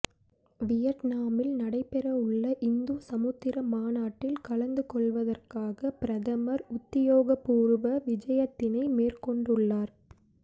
வியட்னாமில் நடைபெறவுள்ள இந்து சமுத்திர மாநாட்டில் கலந்து கொள்வதற்காக பிரதமர் உத்தியோகபூர்வ விஜயத்தினை மேற்கொண்டுள்ளார்